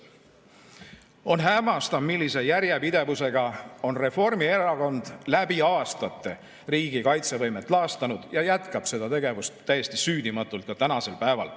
On hämmastav, millise järjepidevusega on Reformierakond läbi aastate riigi kaitsevõimet laastanud ja jätkab seda tegevust täiesti süüdimatult ka tänasel päeval.